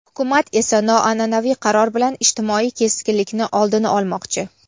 Hukumat esa noanʼanaviy qaror bilan ijtimoiy keskinlikni oldini olmoqchi.